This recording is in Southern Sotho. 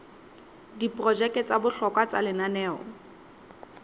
diprojeke tsa bohlokwa tsa lenaneo